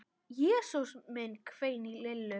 Jesús minn hvein í Lillu.